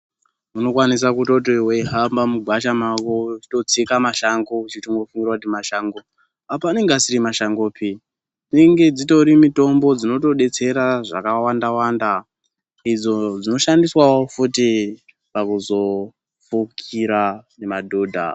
Unokwanisa kutoti weihamba mugwasha mwako weitsika mashango uchitofunga kuti mashango apa anenga asiri mashangope dzinenge dzitori mitombo dzinotodetsera zvakawanda wanda idzo dzino shandiswawo futi pakuzofukira madhodha.